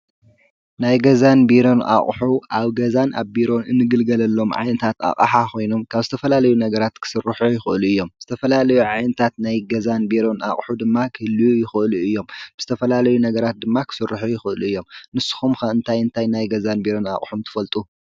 ናይ ገዛን ቢሮን ኣቕሑ ኣብ ገዛን ኣብ ቢሮን እንግልገለሎም ዓይነታት ኣቅሓ ኾይኖም ካብ ዝተፈላለዩ ነገራት ክስርኁ ይኽእሉ እዮም። ምስ ዝተፈላለዩ ዓይነታት ናይ ገዛን ቢሮን ኣቕሑ ድማ ክህልው ይኽእሉ እዮም። ብዝተፈላለዩ ነገራት ድማ ኽስርሑ ይኽእሉ እዮም። ንስኹም ከ እንታይ እንታይ ናይ ገዛን ቢሮን ኣቕሑም ትፈልጡ?